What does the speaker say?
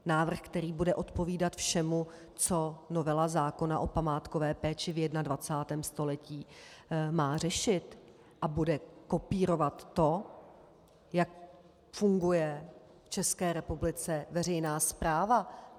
Návrh, který bude odpovídat všemu, co novela zákona o památkové péči v 21. století má řešit, a bude kopírovat to, jak funguje v České republice veřejná správa.